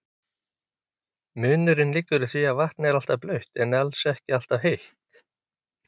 Munurinn liggur í því að vatn er alltaf blautt en alls ekki alltaf heitt.